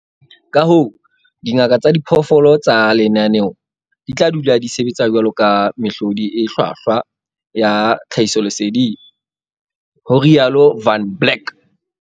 "Kahoo, dingaka tsa diphoofolo tsa lenaneo di tla dula di sebetsa jwaloka mehlodi e hlwahlwa ya tlhahisoleseding," ho rialo Van Blerk.